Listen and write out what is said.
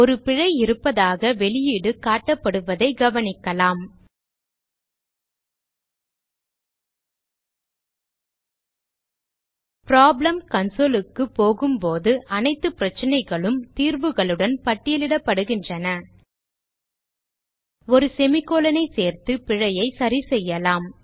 ஒரு பிழை இருப்பதாக வெளியீடு காட்டப்படுவதை கவனிக்கலாம் ப்ராப்ளம் console க்கு போகும்போது அனைத்து பிரச்சனைகளும் தீர்வுகளுடன் பட்டியலிடப்படுகின்றன ஒரு semi colon ஐ சேர்த்து பிழையை சரிசெய்யலாம்